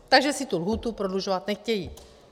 Takže si tu lhůtu prodlužovat nechtějí.